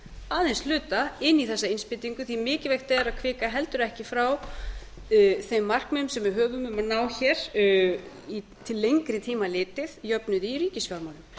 aðeins hluta inn í þessa innspýtingu því mikilvægt er að hvika heldur ekki frá þeim markmiðum sem við höfum um að ná til lengri tíma litið jöfnuði í ríkisfjármálum